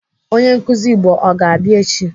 Onye nkụzi Igbo ọ ga-abịa echi?